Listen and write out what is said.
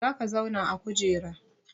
Za ka zauna a kujera!